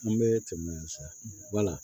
An bɛ tɛmɛ yan sa wala